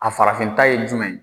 A farafinta ye jumɛn ye?